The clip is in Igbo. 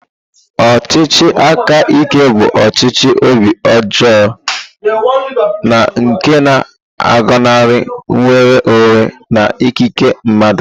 Ọchịchị aka ike bụ ọchịchị obi ọjọọ na nke na-agọnarị nnwere onwe na ikike mmadụ.